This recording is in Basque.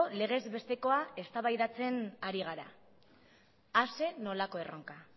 legezbestekoa eztabaidatzen ari gara a zer nolako erronka